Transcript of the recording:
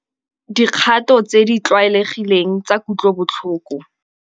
Dikgato tse di tlwaelegileng tsa kutlobotlhoko.